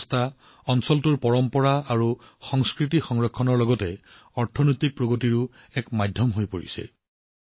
আমাৰ পৰম্পৰা আৰু সংস্কৃতি ৰক্ষা কৰাৰ সমান্তৰালকৈ এই প্ৰচেষ্টাও অৰ্থনৈতিক প্ৰগতিৰ মাধ্যম হৈ পৰিছে